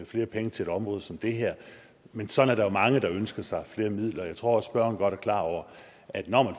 flere penge til et område som det her men sådan er der jo mange der ønsker sig flere midler jeg tror også at spørgeren godt er klar over at når man